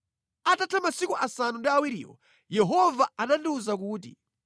Atatha masiku asanu ndi awiriwo, Yehova anandiwuza kuti,